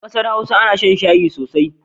A ƙasar Hausa ana shan shayi sosai.